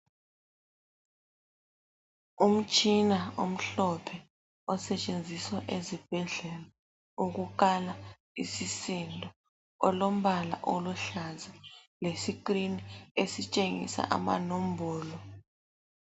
Umtshina omhlophe osetshenziswa ezibhedlela ukukala isisindo olombala oluhlaza lescreen esitshengisa amanombolo.